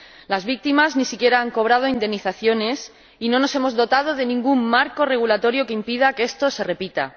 Las víctimas ni siquiera han cobrado indemnizaciones y no nos hemos dotado de ningún marco regulatorio que impida que esto se repita.